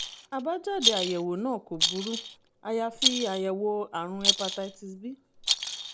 àbájáde àyẹ̀wò náà kò burú àyàfi àyẹ̀wò àrùn hepatitis b